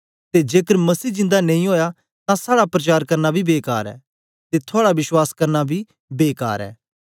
ते जेकर मसीह जिंदा नेई ओया तां साड़ा प्रचार करना बी बेकार ऐ ते थुआड़ा विश्वास करना बी बेकार ऐ